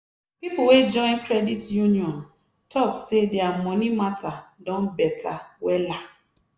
people wey join credit union talk say dia money matter don better wella.